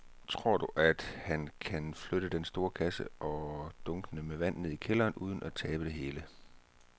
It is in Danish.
Tror du, at han kan flytte den store kasse og dunkene med vand ned i kælderen uden at tabe det hele?